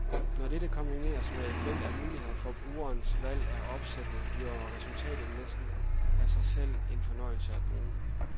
Når dette kombineres med et væld af muligheder for brugerens valg af opsætninger bliver resultatet næsten af sig selv en fornøjelse at bruge.